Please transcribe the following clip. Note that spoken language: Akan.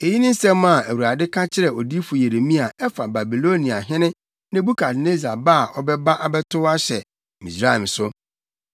Eyi ne asɛm a Awurade ka kyerɛɛ odiyifo Yeremia a ɛfa Babiloniahene Nebukadnessar ba a ɔbɛba abɛtow ahyɛ Misraim so: